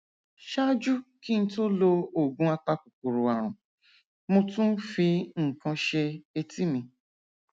ṣáájú kí n tó lo oògùn apakòkòrò ààrùn mo tún fi nǹkan ṣe etí mi